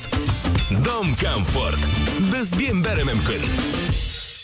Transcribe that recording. дом комфорт бізбен бәрі мүмкін